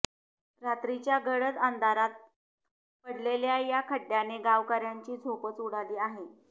रात्रीच्या गडद अंधारात पडलेल्या या खड्डयाने गावकर्यांची झोपच उडाली आहे